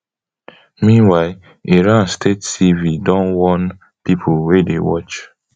meanwhile iran state tv don warn pipo wey dey watch